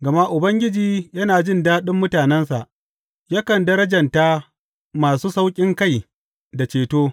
Gama Ubangiji yana jin daɗin mutanensa; yakan darjanta masu sauƙinkai da ceto.